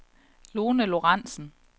Lone Lorentzen